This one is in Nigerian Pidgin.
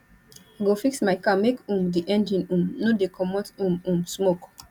i go fix my car make um di engine um no dey comot um um smoke